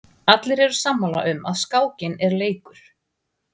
Allir eru sammála um að skákin er leikur.